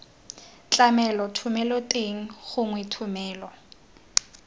tlamelo thomelo teng gongwe thomelo